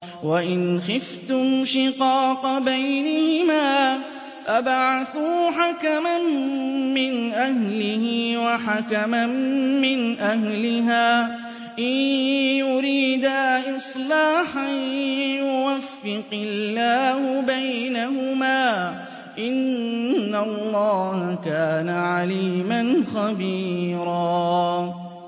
وَإِنْ خِفْتُمْ شِقَاقَ بَيْنِهِمَا فَابْعَثُوا حَكَمًا مِّنْ أَهْلِهِ وَحَكَمًا مِّنْ أَهْلِهَا إِن يُرِيدَا إِصْلَاحًا يُوَفِّقِ اللَّهُ بَيْنَهُمَا ۗ إِنَّ اللَّهَ كَانَ عَلِيمًا خَبِيرًا